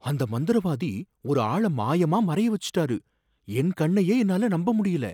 அந்த மந்திரவாதி ஒரு ஆள மாயமா மறைய வச்சுட்டாரு, என் கண்ணையே என்னால நம்ப முடியல